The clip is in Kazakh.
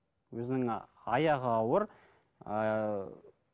өзінің ы аяғы ауыр ыыы